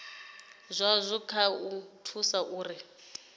zwazwo kha u thusa uri